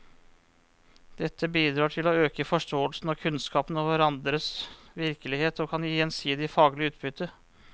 Dette bidrar til å øke forståelsen og kunnskapen om hverandres virkelighet og kan gi gjensidig faglig utbytte.